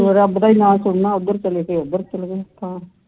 ਰੱਬ ਦਾ ਹੀ ਨਾ ਸੁਣਨਾ ਹੈ ਉਧਰ ਚਲੇ ਗਏ ਉਧਰ ਚਲੇ ਗਏ